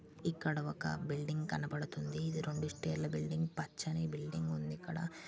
ఇక్కడ ఒక బిల్డింగ్ కనబడుతుంది ఇది రెండు స్టైర్ల బిల్డింగ్ పచ్చని బిల్డింగ్ ఉంది ఇక్కడ.